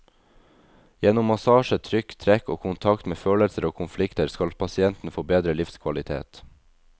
Gjennom massasje, trykk, trekk og kontakt med følelser og konflikter, skal pasienten få bedre livskvalitet.